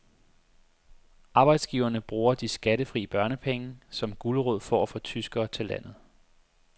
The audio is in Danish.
Arbejdsgiverne bruger de skattefri børnepenge som gulerod for at få tyskere til landet.